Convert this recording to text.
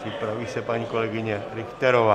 Připraví se paní kolegyně Richterová.